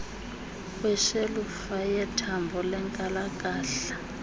kweshelufa yethambo lenkalakahla